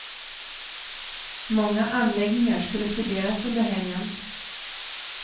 Många anläggningar skulle studeras under helgen.